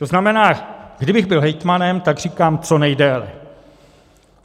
To znamená, kdybych byl hejtmanem, tak říkám co nejdéle.